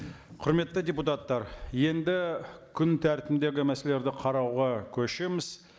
құрметті депутаттар енді күн тәртібіндегі мәселелерді қарауға көшеміз